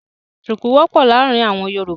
Ṣuku wọ̀pọ́ làarin awọn Yorúbà.